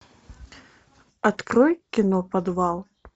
открой кино подвал